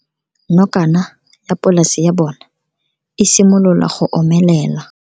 Nokana ya polase ya bona, e simolola go omelela.